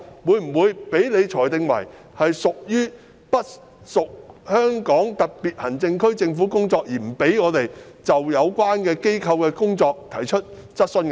會否被你裁定為不屬香港特別行政區政府的工作而不准許我們就有關機構的工作提出質詢？